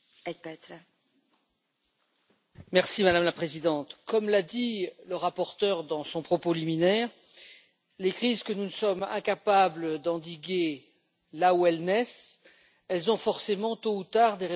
Madame la Présidente, comme l'a dit le rapporteur dans son propos liminaire, les crises que nous sommes incapables d'endiguer là où elles naissent ont forcément tôt ou tard des répercussions très importantes sur notre territoire.